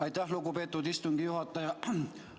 Aitäh, lugupeetud istungi juhataja!